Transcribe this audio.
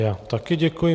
Já také děkuji.